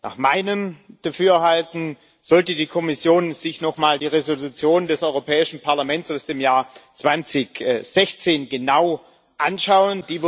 Nach meinem Dafürhalten sollte die Kommission sich nochmal die Entschließung des Europäischen Parlaments aus dem Jahr 2016 genau anschauen.